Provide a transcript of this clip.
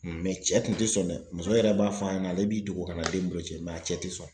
cɛ kun tɛ sɔn dɛ, muso yɛrɛ b'a f'an ɲɛna ale b'i dogo kana den boloci a cɛ tɛ sɔn.